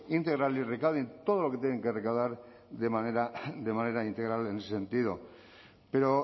y recauden todo lo que tienen que recaudar de manera integral en ese sentido pero